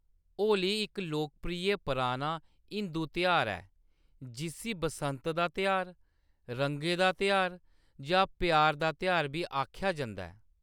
होली इक लोकप्रिय पराना हिंदू तेहार ऐ, जिस्सी बसंत दा तेहार, रंगें दा तेहार जां प्यार दा तेहार बी आखेआ जंदा ऐ।